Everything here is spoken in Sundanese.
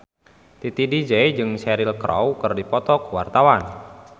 Titi DJ jeung Cheryl Crow keur dipoto ku wartawan